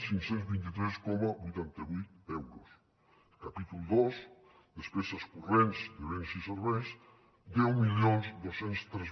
cinc cents i vint tres coma vuitanta vuit euros el capítol dos despeses corrents de béns i serveis deu mil dos cents i tres